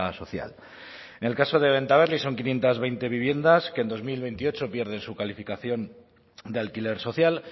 social en el caso de bentaberri son quinientos veinte viviendas que en dos mil veintiocho pierden su calificación de alquiler social